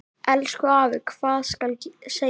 Elsku afi, hvað skal segja.